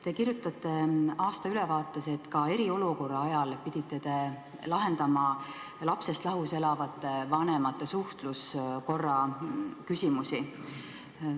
Te kirjutate aastaülevaates, et ka eriolukorra ajal pidite te lahendama lapsest lahus elavate vanemate suhtluskorra küsimusi.